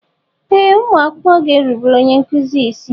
Ee ụmụ akwụkwọ ga-erubere onye nkuzi isi.